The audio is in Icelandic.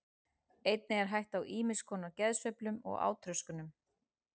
Einnig er hætt á ýmis konar geðsveiflum og átröskunum.